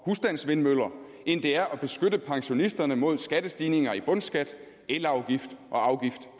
husstandsvindmøller end det er at beskytte pensionisterne mod skattestigninger i bundskat elafgift og afgift